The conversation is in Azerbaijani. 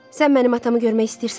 Sən mənim atamı görmək istəyirsənmi?